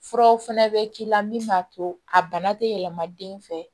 Furaw fɛnɛ bɛ k'i la min b'a to a bana tɛ yɛlɛma den fɛ